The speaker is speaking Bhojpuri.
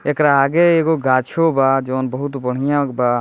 एकरा आगे एगो गाछो बा जोन बहुत बढ़िया बा।